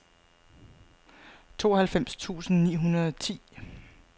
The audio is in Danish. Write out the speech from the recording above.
tooghalvfems tusind ni hundrede og ti